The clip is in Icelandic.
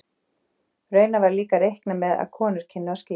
Raunar var líka reiknað með að konur kynnu að skíra.